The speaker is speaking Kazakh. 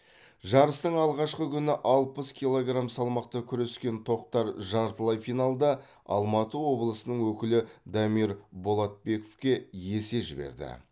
жарыстың алғашқы күні алпыс килограмм салмақта күрескен тоқтар жартылай финалда алматы облысының өкілі дамир болатбековке есе жіберді